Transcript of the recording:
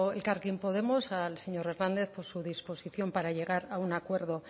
elkarrekin podemos al señor hernández por su disposición para llegar a un acuerdo